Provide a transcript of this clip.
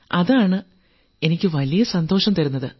അതാണ് എനിക്ക് വലിയ സന്തോഷം തരുന്നത്